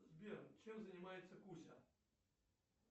сбер чем занимается куся